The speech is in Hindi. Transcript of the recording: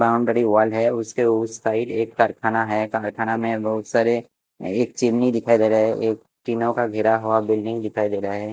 बाउंड्री वॉल है उसके उस साइड एक कारखाना है कारखाना में बहुत सारे एक चिमनी दिखाई दे रहा है एक टीनों का घेरा हुआ बिल्डिंग दिखाई दे रहा है।